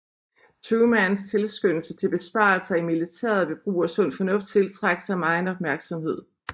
Trumans tilskyndelse til besparelser i militæret ved brug af sund fornuft tiltrak sig megen opmærksomhed